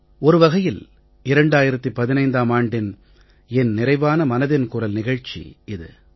ஒரு வகையில் 2015ம் ஆண்டின் என் நிறைவான மனதின் குரல் நிகழ்ச்சி இது